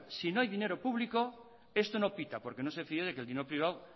si no hay dinero público esto no pita porque no se fía de que el dinero privado